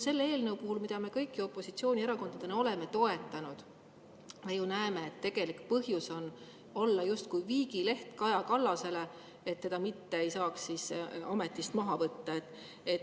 Selle eelnõu puhul, mida me kõik ju opositsioonierakondadena oleme toetanud, me näeme, et tegelik põhjus on olla justkui viigileht Kaja Kallasele, et teda ei saaks ametist maha võtta.